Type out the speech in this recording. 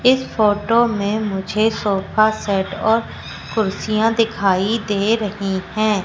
इस फोटो में मुझे सोफा सेट और कुर्सियां दिखाई दे रही हैं।